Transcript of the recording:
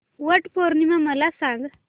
वट पौर्णिमा मला सांग